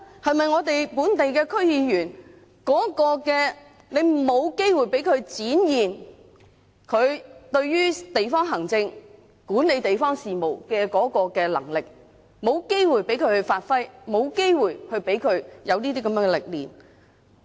是不是本地區議員沒有機會展現和發揮他們對於管理地方事務的能力，也沒有機會讓他們學習和磨練？